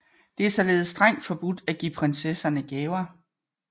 Det er således strengt forbudt at give prinsesserne gaver